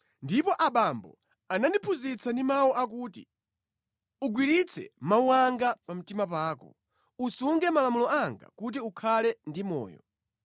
Ndipo abambo anandiphunzitsa ndi mawu akuti, “Ugwiritse mawu anga pa mtima pako, usunge malamulo anga kuti ukhale ndi moyo.